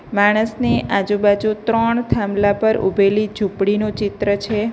માણસની આજુ બાજુ ત્રણ થાંભલા પર ઉભેલી ઝૂંપડીનું ચિત્ર છે.